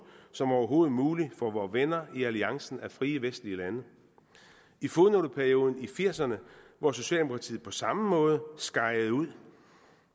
som overhovedet muligt for vore venner i alliancen af frie vestlige lande i fodnoteperioden i nitten firserne hvor socialdemokratiet på samme måde skejede ud